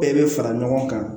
Bɛɛ bɛ fara ɲɔgɔn kan